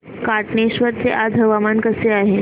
कातनेश्वर चे आज हवामान कसे आहे